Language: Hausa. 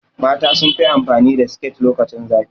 Mata sunfi amfani da siket lokacin zafi